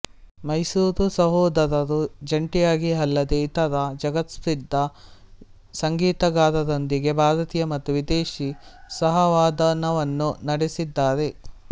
ಮೈಸೂರು ಸಹೋದರರು ಜಂಟಿಯಾಗಿ ಅಲ್ಲದೆ ಇತರ ಜಗತ್ಪ್ರಸಿದ್ಧ ಸಂಗೀತಗಾರರೊಂದಿಗೆ ಭಾರತೀಯ ಮತ್ತು ವಿದೇಶಿ ಸಹವಾದನವನ್ನು ನಡೆಸಿದ್ದಾರೆ